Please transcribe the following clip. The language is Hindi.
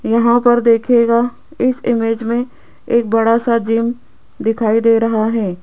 यहां पर देखियेगा इस इमेज में एक बड़ा सा जिम दिखाई दे रहा है।